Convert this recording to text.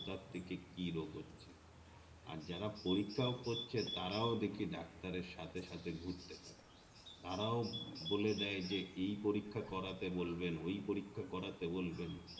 কথা থেকে কি রোগ হচ্ছে আর যারা পরীক্ষাও করছে তারাও দেখি ডাক্তার এর সাথে সাথে ঘুরতে থাকে তারাও বলে দেয় যে এই পরীক্ষায় করতে বলবে ওই পরীক্ষা করতে বলবেন